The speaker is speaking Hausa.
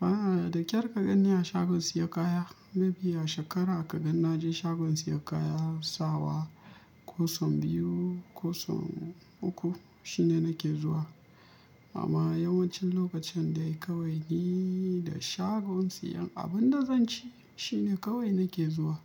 A'a, da ƙyar ka ganni a shagon siyo kaya. Maybe a shekara ka gan na je shagon siyan kayan sawa, ko sau biyu, ko sau uku shine nake zuwa. Amma yawancin lokacin dai kawai ni da shagon siyan abin da zan ci shine kawai nake zuwa.